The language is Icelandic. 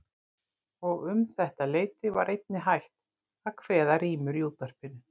Og um þetta leyti var einnig hætt að kveða rímur í útvarpinu.